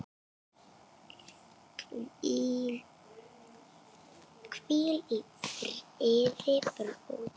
Hvíl í friði, bróðir.